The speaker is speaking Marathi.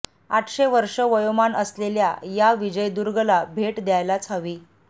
आठशे वर्षे वयोमान असलेल्या या विजयदुर्गला भेट द्यायलाच हवी